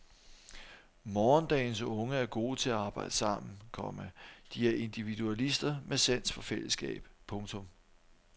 Morgendagens unge er gode til at arbejde sammen, komma de er individualister med sans for fællesskab. punktum